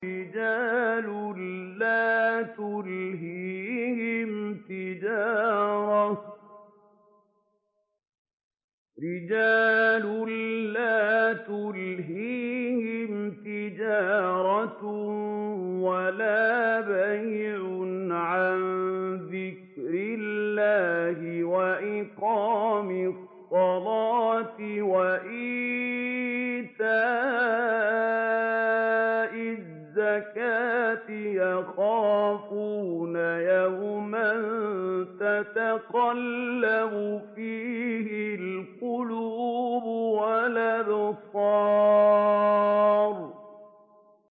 رِجَالٌ لَّا تُلْهِيهِمْ تِجَارَةٌ وَلَا بَيْعٌ عَن ذِكْرِ اللَّهِ وَإِقَامِ الصَّلَاةِ وَإِيتَاءِ الزَّكَاةِ ۙ يَخَافُونَ يَوْمًا تَتَقَلَّبُ فِيهِ الْقُلُوبُ وَالْأَبْصَارُ